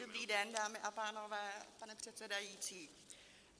Dobrý den, dámy a pánové, pane předsedající.